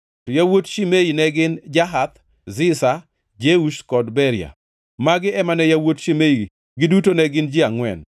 To yawuot Shimei ne gin: Jahath, Ziza, Jeush kod Beria. Magi ema ne yawuot Shimei, giduto ne gin ji angʼwen.